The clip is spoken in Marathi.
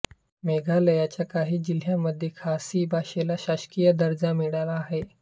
मेघालयच्या काही जिल्ह्यांमध्ये खासी भाषेला शासकीय दर्जा मिळाला आहे